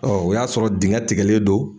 o y'a sɔrɔ dingɛ tikɛlen don.